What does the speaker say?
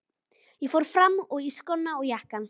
Ég fór fram og í skóna og jakkann.